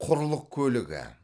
құрлық көлігі